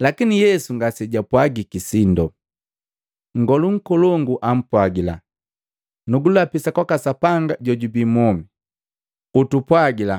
Lakini Yesu ngasejapwajiki sindo. Nngolu nkolongu ampwagila, “Nugulapisa kwaka Sapanga jojubi mwomi. Utupwajila